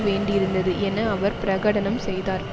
வேண்டியிருந்தது என அவர் பிரகடனம் செய்தார்